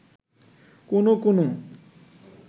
কোনো কোনো